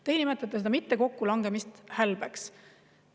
Teie nimetate seda mitte kokkulangemist hälbeks.